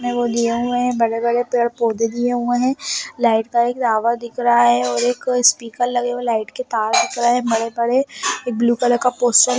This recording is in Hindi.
दिया हुए है बगल वाले पेड़ पौधा दिए हुए है लाइट का एक टावर दिख रहा है और एक स्पीकर लगे हुए लाइट के पास दिख रहा भरे पड़े एक ब्लू कलर पोस्टर --